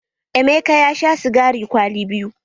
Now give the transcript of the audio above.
Emeka ya sha sigari kwali biyu.